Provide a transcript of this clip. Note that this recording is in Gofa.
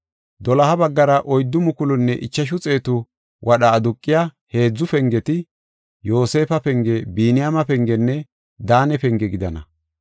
Doloha baggara oyddu mukulunne ichashu xeetu wadha aduqiya heedzu pengeti, Yoosefa penge, Biniyaame pengenne Daane penge gidana.